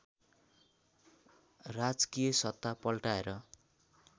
राजकीय सत्ता पल्टाएर